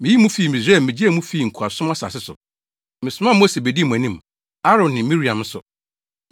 Miyii mo fii Misraim migyee mo fii nkoasom asase so. Mesomaa Mose bedii mo anim, Aaron ne Miriam nso.